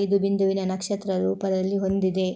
ಐದು ಬಿಂದುವಿನ ನಕ್ಷತ್ರದ ರೂಪದಲ್ಲಿ ಹೊಂದಿದೆ